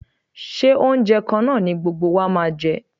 Ṣé oúnjẹ kan náà ni gbogbo wa máa jẹ?